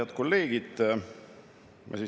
Head kolleegid!